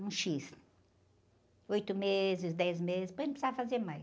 um xis, oito meses, dez meses, depois não precisava fazer mais.